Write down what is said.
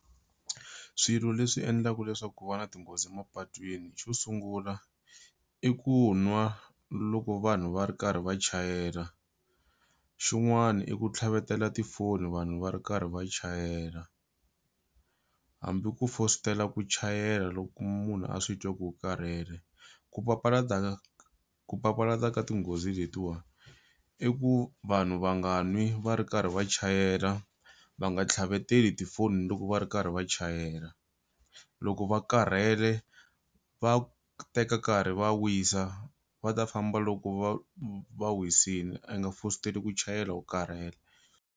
Swilo leswi endlaku leswaku ku va na tinghozi mapatwini xo sungula i ku nwa loko vanhu va ri karhi va chayela xin'wani i ku tlhavetela tifoni vanhu va ri karhi va chayela hambi ku fositela ku chayela loko munhu a swi twa ku u karhele ku papalata ku papalata ka tinghozi letiwa i ku vanhu va nga n'wi va ri karhi va chayela va nga tlhaveteli tifoni loko va ri karhi va chayela loko va karhele va teka nkarhi va wisa va ta famba loko va va wisile i nga fositeli ku chayela u karhele.